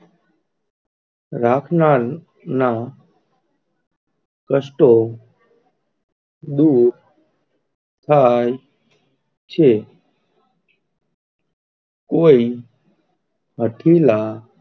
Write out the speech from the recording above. રાખનાં ના કષ્ટો દૂર થાય છે કોઈ હતીલા,